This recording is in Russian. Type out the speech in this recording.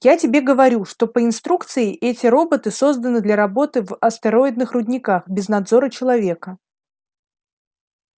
я тебе говорю что по инструкции эти роботы созданы для работы в астероидных рудниках без надзора человека